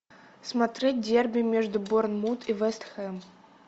смотреть дерби между борнмут и вест хэм